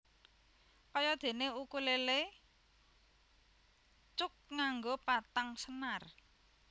Kaya déné ukulélé cuk nganggo patang senar